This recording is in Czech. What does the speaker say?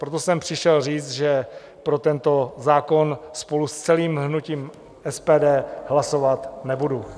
Proto jsem přišel říct, že pro tento zákon spolu s celým hnutím SPD hlasovat nebudu.